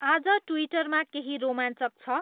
आज ट्विटरमा केहि रोमाञ्चक छ